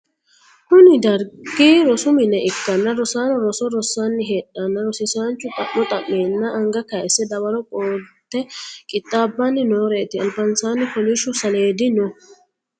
kuni dargi rosu mine ikkanna, rosaano roso rossanni heedheenna, rosiisaanchu xa'mo xa'meenna anga kayyisse dawaro qolate qixxaabbanni nooreeti, albasaanni kolishshu saleedino no.